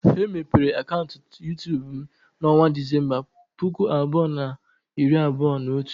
Emepere m akaụntụ YuTubu m na onwa Disemba, puku abụọ na iri abụọ na otu.